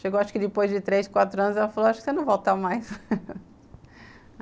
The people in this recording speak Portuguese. Chegou, acho que depois de três, quatro anos, ela falou, acho que você não volta mais.